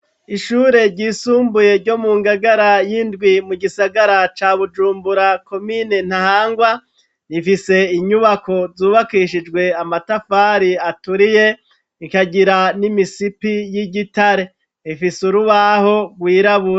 Ishure ry'isumbuye ryo mu ngagara y'indwi mu gisagara ca bujumbura komine ntahangwa rifise inyubako zubakishijwe amatafari aturiye ikagira n'imisipi y'igitare, ifise urubaho rwirabura.